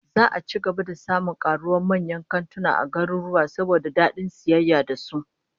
Za'a ci gaba da samun karuwa manyan kantuna a garuruwa, saboda dadin sayayya da su